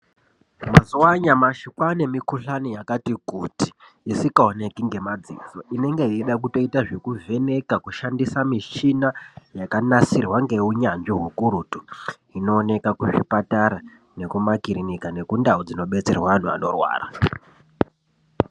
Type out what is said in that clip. Mazuwa anyamashi kwaane mikhuhlani yakati kuti isingaoneki ngemadziso inenga yeide kutoita zvekuvheneka kushandisa mishina yakanasirwa ngeunyanzvi ukurutu inooneka kuzvipatara nekumakirinika nekundau dzinobetserwe anhu anorwara..